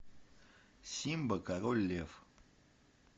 симба король лев